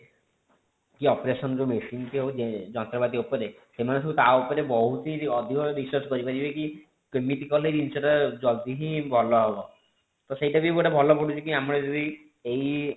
କି operation ଯେଉଁ medicine ହୋଉଛି ଯନ୍ତ୍ରପାତି ଉପରେ ସେମାନେ ସବୁ ତା ଉପରେ ବହୁତ ହିଁ ଅଧିକ research କରି ପାରିବେ କି କେମିତି କଲେ ଜିନିଷ ଟା ଜଲ୍ଦି ହିଁ ଭଲ ହବ ତ ସେଇଟା ବି ଗୋଟେ ଭଲ ପଡୁଛି କି ଆମର ଯଦି ଏଇ